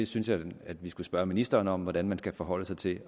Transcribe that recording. synes at vi skal spørge ministeren om hvordan man skal forholde sig til det